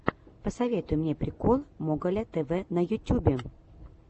посоветуй мне прикол моголя тв на ютюбе